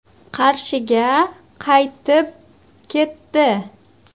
Qarshiga qaytib ketdi.